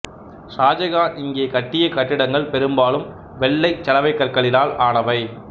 சாஜகான் இங்கே கட்டிய கட்டிடங்கள் பெரும்பாலும் வெள்ளைச் சலவைக்கற்களினால் ஆனவை